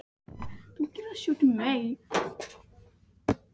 Það mundi klæða yður að eiga heima á